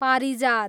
पारिजात